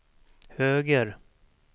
höger